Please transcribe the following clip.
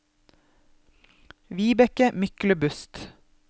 Vibeke Myklebust